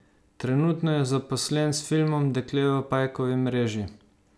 Trenutno je zaposlen s filmom Dekle v pajkovi mreži.